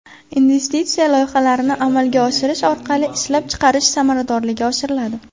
Investitsiya loyihalarini amalga oshirish orqali ishlab chiqarish samaradorligi oshiriladi.